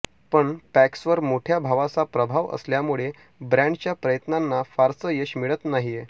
पण पॅक्सवर मोठ्या भावाचा प्रभाव असल्यामुळे ब्रॅडच्या प्रयत्नांना फारसं यश मिळत नाहीये